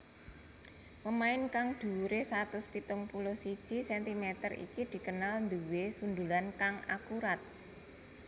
Pemain kang dhuwuré satus pitung puluh siji centimeter iki dikenal nduwé sundulan kang akurat